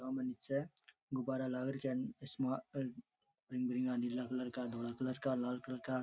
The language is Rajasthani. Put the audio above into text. सामने नीचे गुब्बारा लाग रख्या नीला कलर का डोडा कलर का लाल कलर का।